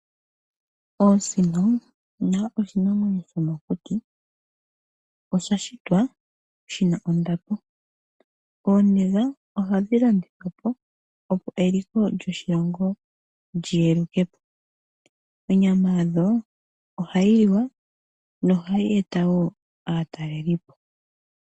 Osino nayo oshinamwemyo shomokuti, osha shitwa shina ondapo. Ooniga ohadhi landithwa po, opo eliko lyoshilongo lyi yeluke po. Onyama yadho ohayi liwa nohayi e ta wo aataleli po.